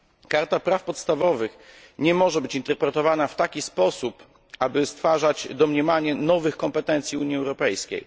Karta praw podstawowych nie może być interpretowana w taki sposób, aby stwarzać domniemanie nowych kompetencji Unii Europejskiej.